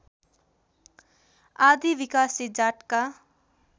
आदि विकासे जातका